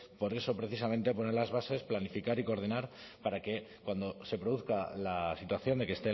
por eso precisamente poner las bases planificar y coordinar para que cuando se produzca la situación de que